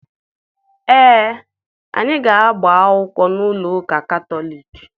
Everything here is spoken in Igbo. Ee, anyị ga-agba akwụkwọ n'ụlọ ụka Katọliki.